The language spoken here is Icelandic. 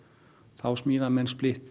þá smíða menn